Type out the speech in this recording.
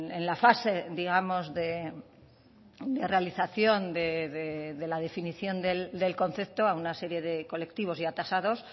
en la fase digamos de realización de la definición del concepto a una serie de colectivos ya tasados